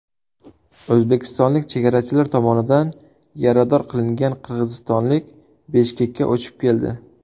O‘zbekistonlik chegarachilar tomonidan yarador qilingan qirg‘izistonlik Bishkekka uchib keldi.